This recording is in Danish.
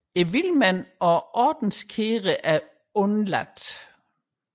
Vilmændene og ordenskæderne er dog udeladt